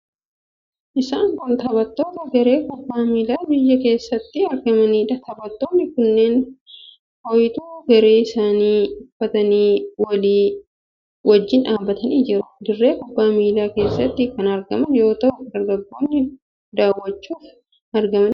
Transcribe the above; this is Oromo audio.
Isaan kun taphattoota garee kubbaa miilaa biyya keessatti argamaniidha. Taphattoonni kunneen fooytuu garee isaanii uffatanii walii wajjin dhaabbatanii jiru. Dirree kubbaa miilaa keessatti kan argaman yoo ta'u, deeggartoonnis daawwachuuf argamanii jiru.